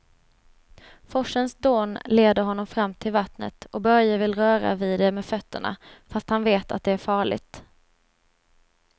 Forsens dån leder honom fram till vattnet och Börje vill röra vid det med fötterna, fast han vet att det är farligt.